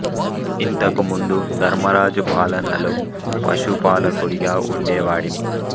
ఇంతకు ముందు ధర్మరాజు పాలనలో పశు పాలకుడిగా ఉండే వాడిని